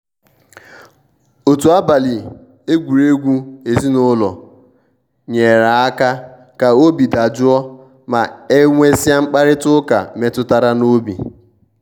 otu abali egwuregwu ezinụlọ nyere aka ka obi dajụọ ma e nwesia mkparịta ụka metụtara n'obi.